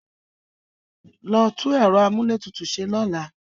Lọ tú ẹ̀rọ amúlétutù ṣe lọ́la!